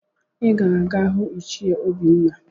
Ị ga-aga hụ ichie Obinna!